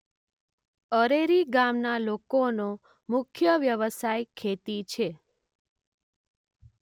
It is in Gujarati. અરેરી ગામના લોકોનો મુખ્ય વ્યવસાય ખેતી છે.